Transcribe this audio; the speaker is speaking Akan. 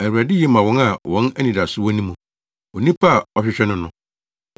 Awurade ye ma wɔn a wɔn anidaso wɔ ne mu, onipa a ɔhwehwɛ no no;